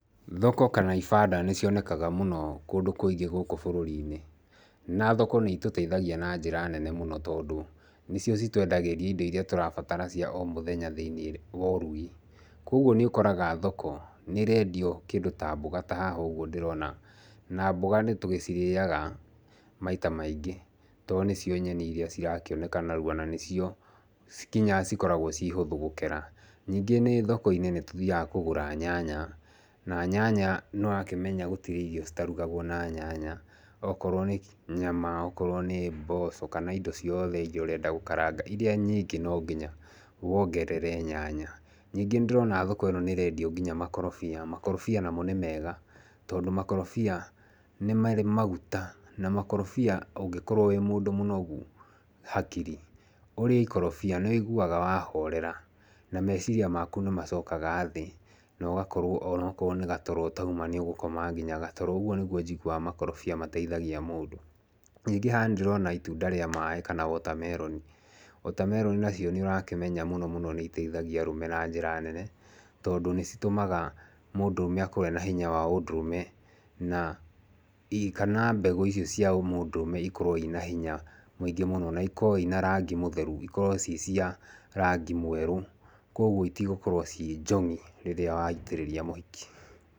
Thoko kana ibanda nĩ cionekaga mũno kũndũ kũingĩ gũkũ bũrũri-inĩ. Na thoko nĩ itũteithagia na njĩra nene mũno tondũ, nĩcio citũendagĩria indo irĩa tũrabatara cia o mũthenya thĩiniĩ wa ũrugi. Koguo nĩ ũkoraga thoko, nĩ ĩrendio kĩndũ ta mboga ta haha ũguo ndĩrona. Na mboga nĩ tũgĩcirĩaga maita maingĩ to nĩcio nyeni irĩa cirakĩonaka narua. Na nĩcio nginya cikoragwo ci hũthũ gũkera. Ningĩ nĩ thoko-inĩ nĩ tũthiaga kũgũra nyanya. Na nyanya nĩ ũrakĩmenya gũtirĩ irio citarugagwo na nyanya. Okorwo nĩ nyama, okorwo nĩ mboco, kana indo ciothe irĩa ũrenda gũkaranga, irĩa nyingĩ no nginya wongerere nyanya. Ningĩ nĩ ndĩrona thoko ĩno nĩ ĩrendio nginya makorobia. Makorobia namo nĩ mega, tondũ makorobia nĩ marĩ maguta, na makorobia ũngĩkorwo wĩ mũndũ mũnogu hakiri, ũrĩe ikorobia, nĩ wĩiguaga wahorera, na meciria maku nĩ macokaga thĩ, na ũgakorwo onokorwo nĩ gatoro ũtauma nĩ ũgũkoma nginya gatoro. Ũguo nĩguo njiguaga makorobia mateithagia mũndũ. Ningĩ haha nĩ ndĩrona itunda rĩa maaĩ kana watermelon. Watermelon nacio nĩ ũrakĩmenya mũno mũno nĩ iteithagia arũme na njĩra nene, tondũ nĩ citũmaga mũndũrũme akorwo ena hinya wa ũndũrũme, na kana mbegũ icio cia ũmũndũrũme ikorwo ina hinya mũingĩ mũno. Na ikorwo ina rangi mũtheru, ikorwo ii cia rangi mwerũ. Koguo itigũkorwo ciĩ njong'ĩ rĩrĩa waitĩrĩria mũhiki.